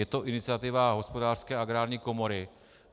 Je to iniciativa Hospodářské a Agrární komory.